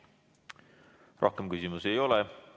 Rohkem küsimusi ei ole.